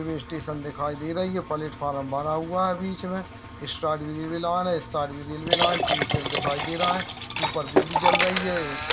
Railway station दिखाई दे रही है। पलेटफारम बना हुआ है बीच में। इस साइड भी रेलवे लाइन है इस साइड भी रेलवे लाइन । टीन शेड दिखाई दे रहा है। ऊपर बिजली जल रही है।